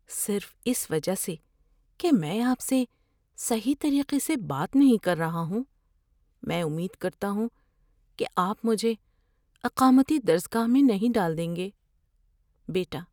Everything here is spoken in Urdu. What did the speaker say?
صرف اس وجہ سے کہ میں آپ سے صحیح طریقے سے بات نہیں کر رہا ہوں، میں امید کرتا ہوں کہ آپ مجھے اقامتی درس گاہ میں نہیں ڈال دیں گے؟ (بیٹا)